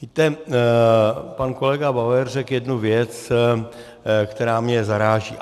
Víte, pan kolega Bauer řekl jednu věc, která mě zaráží.